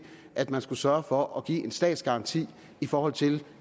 at man skulle sørge for at give en statsgaranti i forhold til